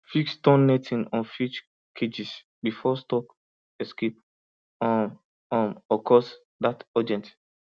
fix torn netting on fish cages before stock escape um um occurs that urgent